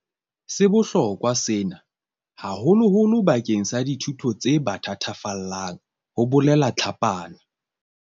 "Se bohlokwa sena, haholoholo bakeng sa dithuto tse ba thatafallang," ho bolela Tlhapane.